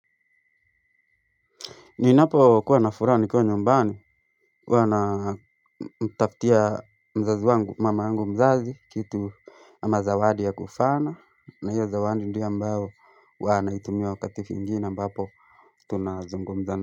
Ninapokuwa na furaha nikiwa nyumbani huwa na tafutia mzazi wangu mama yangu mzazi kitu ama zawadi ya kufana na hiyo zawadi ndiyo ambayo hua naitumia wakati mwingine ambapo tunazungumza.